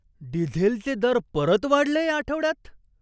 डिझेलचे दर परत वाढले या आठवड्यात?